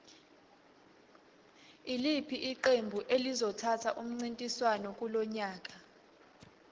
iliphi iqembu elizothatha umncintiswano kulonyaka